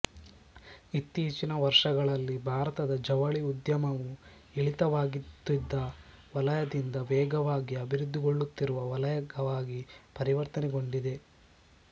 ಇತ್ತೀಚಿನ ವರ್ಷಗಳಲ್ಲಿ ಭಾರತದ ಜವಳಿ ಉದ್ಯಮವು ಇಳಿತವಾಗುತ್ತಿದ್ದ ವಲಯದಿಂದ ವೇಗವಾಗಿ ಅಭಿವೃದ್ಧಿಗೊಳ್ಳುತ್ತಿರುವ ವಲಯವಾಗಿ ಪರಿವರ್ತನೆಗೊಂಡಿದೆ